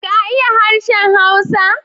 ka iya harshen Hausa.